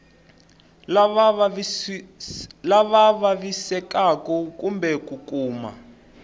lava vavisekaku kumbe ku kuma